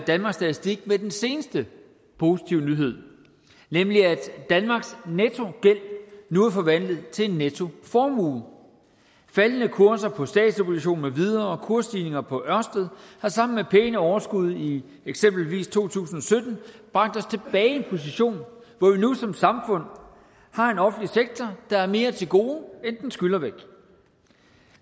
danmarks statistik med den seneste positive nyhed nemlig at danmarks nettogæld nu er forvandlet til en nettoformue faldende kurser på statsobligationer med videre og kursstigninger på ørsted har sammen med pæne overskud i eksempelvis to tusind og sytten bragt os tilbage i en position hvor vi nu som samfund har en offentlig sektor der har mere til gode end den skylder væk